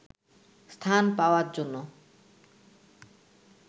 স্থান পাওয়ার জন্য